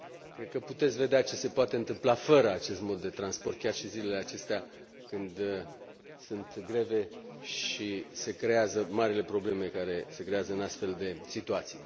Cred că puteți vedea ce se poate întâmpla fără acest mod de transport chiar și în zilele acestea, când sunt greve și se creează marile probleme care se creează în astfel de situații.